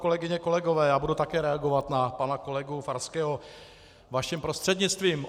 Kolegyně, kolegové, já budu také reagovat na pana kolegu Farského vaším prostřednictvím.